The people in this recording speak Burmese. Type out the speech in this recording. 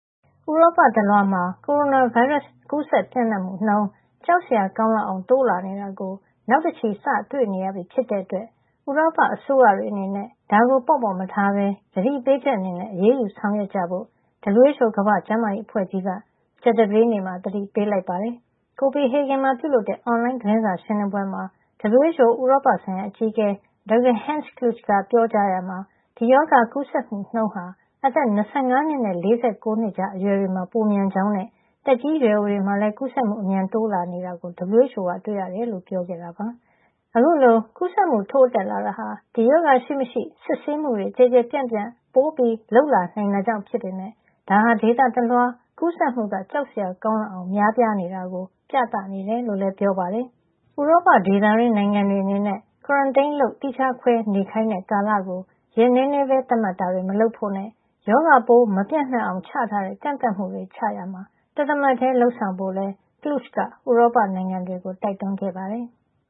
ဥရောပတလွှားမှာ ကိုရိုနာဗိုင်းရပ်စ် ကူးစက်ပျံ့နှံ့မှု နှုန်း ကြောက်စရာကောင်းလောက်အောင်တိုးလာ နေတာကို နောက်တချီ စတွေ့ နေရပြီ ဖြစ်တဲ့အတွက် ဥရောပ အစိုးရတွေအနေနဲ့ ဒါကို ပေါ့ပေါ့မထားပဲ သတိပေးချက် အနေနဲ့ အရေးယူ ဆောင်ရွက်ကြဖို့ WHO ကမ္ဘာ့ကျန်းမာရေး အဖွဲ့ကြီးက ကြာသပတေးနေ့မှာ သတိပေးလိုက်ပါတယ်။ Copenhagen မှာ ပြုလုပ်တဲ့ အွန်လိုင်း သတင်းစာရှင်းလင်းပွဲမှာ WHO ရဲ့ ဥရောပဆိုင်ရာအကြီးအကဲ Dr. Hans Kluge က ပြောကြားရာမှာ ဒီရောဂါကူးစက်မှုနှုန်း ဟာ အသက် ၂၅ နှစ်နဲ့ ၄၉ နှစ်ကြား အရွယ် တွေမှာ ပိုမြန် ကြောင်းနဲ့. သက်ကြီးရွယ်အိုတွေမှာလည်း ကူးစက်မှု အမြန်တိုးလာနေတာကို WHO က တွေ့ရကြောင်း ပြောကြားခဲ့တာပါ။ အခုလို ကူးစက်မှုထိုးတက်လာတာဟာ ဒီရောဂါရှိမရှိ စစ်ဆေးမှုတွေ ကျယ်ကျယ်ပြန့်ပြန့် ပိုပြီး လုပ်လာနိုင်တာကြောင့် ဖြစ်ပေမယ့် ဒါဟာ ဒေသတလွှား ကူးစက်မှုက ကြောက်စရာကောင်းလောက်အောင် များနေတာကို ပြနေတယ်လို့လည်း ပြောပါတယ်။ ဥရောပဒေသတွင်း နိုင်ငံတွေ အနေနဲ့ Quarantine လုပ်သီးခြားခွဲနေခိုင်းတဲ့ ကာလကို ရက်နဲနဲပဲ သတ်မှတ်တာတွေ မလုပ်ဖို့နဲ့ ရောဂါပိုးမပျံ့ နှံ့ အောင် ချထားတဲ့ ကန့်သတ်မှုချရာမှာ တသမတ်ထည်း လုပ်ဆောင်ဖို့လည်း Kluge က ဥရောပနိုင်ငံတွေကို တိုက်တွန်းခဲ့ပါတယ်။